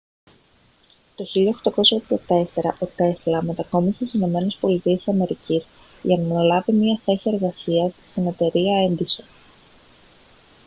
το 1884 ο τέσλα μετακόμισε στις ηνωμένες πολιτείες της αμερικής για να αναλάβει μια θέση εργασίας στην εταιρεία έντισον